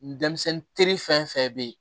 Denmisɛnnin teri fɛn fɛn bɛ yen